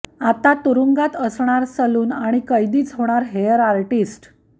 आता तुरुंगात असणार सलून आणि कैदीच होणार हेअर आरर्टिस्ट